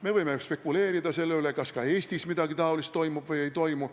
Me võime spekuleerida selle üle, kas ka Eestis midagi niisugust toimub või ei toimu.